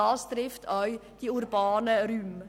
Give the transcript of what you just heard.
Betroffen sind auch die urbanen Räume.